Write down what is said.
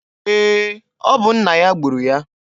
Ee, ọ bụ nna ya gburu ya.